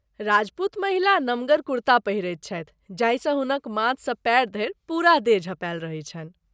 राजपूत महिला नमगर कुर्ता पहिरैत छथि जाहिसँ हुनक माथसँ पाएर धरि पूरा देह झाँपल रहैत छनि।